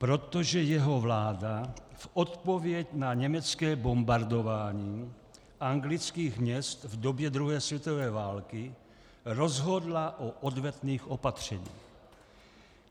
Protože jeho vláda v odpověď na německé bombardování anglických měst v době druhé světové války rozhodla o odvetných opatřeních.